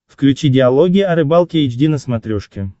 включи диалоги о рыбалке эйч ди на смотрешке